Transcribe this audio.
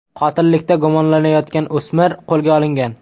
Qotillikda gumonlanayotgan o‘smir qo‘lga olingan.